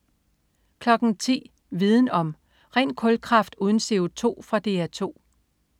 10.00 Viden om: Ren kulkraft uden CO2. Fra DR 2